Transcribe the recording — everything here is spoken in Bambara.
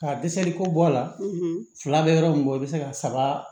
Ka dɛsɛli ko bɔ a la fila bɛ yɔrɔ min kɔ i bɛ se ka saba